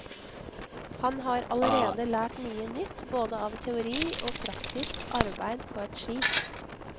Han har allerede lært mye nytt både av teori og praktisk arbeid på et skip.